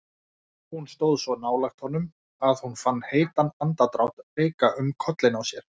Hún stóð svo nálægt honum að hún fann heitan andardrátt leika um kollinn á sér.